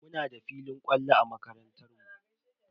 Muna da filin kwallo a makarantar mu.